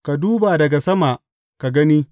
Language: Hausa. Ka duba daga sama ka gani!